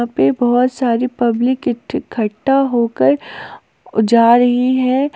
यहां पे बहुत सारी पब्लिक इकट्ठा होकर जा रही है।